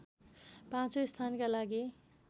पाँचौं स्थानका लागि